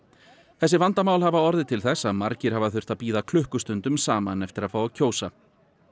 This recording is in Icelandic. þessi vandamál hafa orðið til þess að margir hafa þurft að bíða klukkustundum saman eftir að fá að kjósa